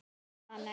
Hanna Björg.